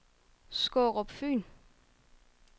Skårup Fyn